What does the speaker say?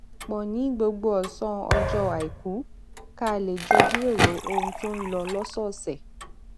pò ní gbogbo òsán ọjọ aiku ká lè jọ jíròrò ohun tó ń lọ lósòòsè